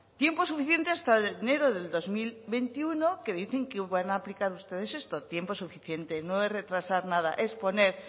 tiempo suficiente hasta enero del dos mil veintiuno que dicen que van a aplicar ustedes esto tiempo suficiente no es retrasar nada es poner